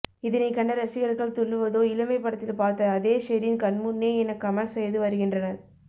இதனை கண்ட ரசிகர்கள் துள்ளுவதோ இளமை படத்தில் பார்த்த அதே ஷெரின் கண்முன்னே என கமெண்ட்ஸ் செய்து வருகின்றனர்